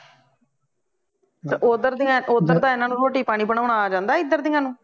ਤੇ ਉਦਰ ਦੀਆ ਓਦਰ ਦਾ ਇਹਨਾਂ ਨੂੰ ਰੋਟੀ ਪਾਣੀ ਬਣੌਣਾ ਆ ਜਾਂਦਾ ਇਦਰ ਦੀਆ ਨੂੰ